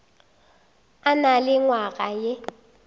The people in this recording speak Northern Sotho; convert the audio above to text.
a na le nywaga ye